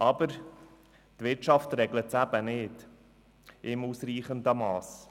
Aber die Wirtschaft regelt es eben nicht in ausreichendem Mass.